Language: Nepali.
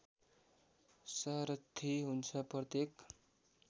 सारथि हुन्छ प्रत्येक